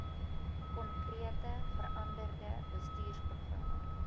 konkrete veranderde bestuursprogramme